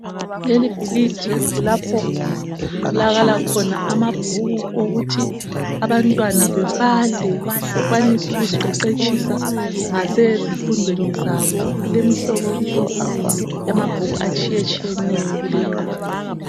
Lelebhulidi kulapho okutholakala amabhuku okuthi abantwana bebale bekwanise ukuziqeqetshisa ngasezifundweni zabo. Kulemihlobohlobo yamabhuku atshiyetshiyeneyo kulindawo.